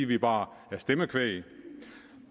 vi bare er stemmekvæg